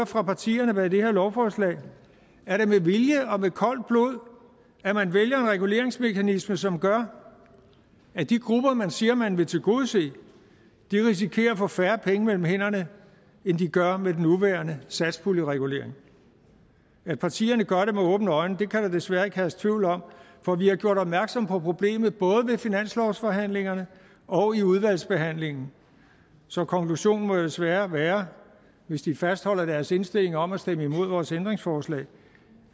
fra partierne bag det her lovforslag er det med vilje og med koldt blod at man vælger en reguleringsmekanisme som gør at de grupper man siger man vil tilgodese risikerer at få færre penge mellem hænderne end de gør med den nuværende satspuljeregulering at partierne gør det med åbne øjne kan der desværre ikke herske tvivl om for vi har gjort opmærksom på problemet både ved finanslovsforhandlingerne og i udvalgsbehandlingen så konklusionen må desværre være hvis de fastholder deres indstilling om at stemme imod vores ændringsforslag